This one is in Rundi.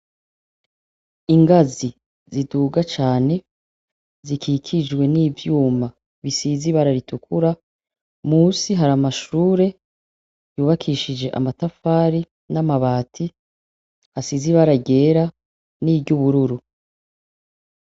Ingazi ziduga cane zikikijwe n’ivyuma bisize ibara ritukura munsi hari amashure yubakishije amatafari n’amabati asize ibara ryera ni ry’ubururu.